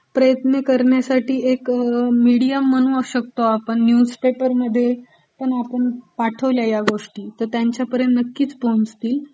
प्रयत्न करण्यासठी एक मिडीयम म्हणू शकतो आपण, न्यूजपेपरमध्ये पण आपण पाठवल्या ह्या गोष्टी तर त्यांच्यापर्यंत पण नक्कीच पोहोचतील.